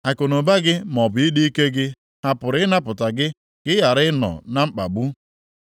Akụnụba gị maọbụ ịdị ike gị ha pụrụ ịnapụta gị ka ị ghara ịnọ na mkpagbu?